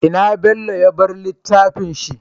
Ina bello ya bar littafin shi?